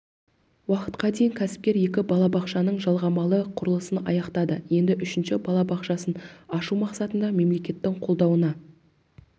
уақытқа дейін кәсіпкер екі балабақшаның жалғамалы құрылысын аяқтады енді үшінші балабақшасын ашу мақсатында мемлекеттің қолдауына